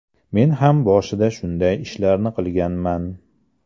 Men ham boshida shunday ishlarni qilganman.